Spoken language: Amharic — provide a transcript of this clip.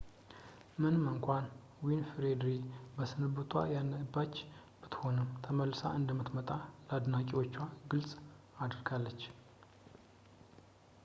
ምንም እንኳን ዊንፍሬይ በስንብቷ እያነባች ብትሆንም ተመልሳ እንደምትመጣ ለአድናቂዎቿ ግልፅ አድርጋለች